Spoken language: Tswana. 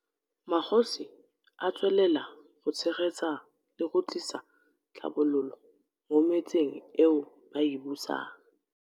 Magosi a tswelela go tshegetsa le go tlisa tlhabololo mo metseng eo ba e busang.